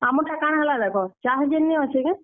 ଆମର୍ ଟା କାଣା ହେଲା ଦେଖ ଚାଷ୍ ଜେନ୍ ନି ଅଛେ କେଁ।